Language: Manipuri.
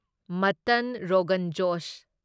ꯃꯠꯇꯟ ꯔꯣꯒꯟ ꯖꯣꯁ